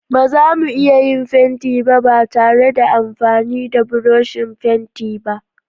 Ba zamu iya yin fenti ba ba tare da amfani da burushin fenti ba.